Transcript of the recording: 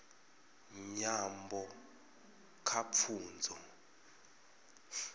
nyambo kha pfunzo